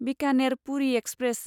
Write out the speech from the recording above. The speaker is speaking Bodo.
बिकानेर पुरि एक्सप्रेस